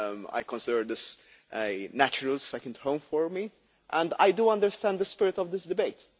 I consider this as a natural second home for me, and I do understand the spirit of this debate.